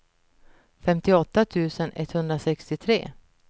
femtioåtta tusen etthundrasextiotre